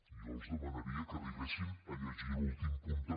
jo els demanaria que arribessin a llegir l’últim punt també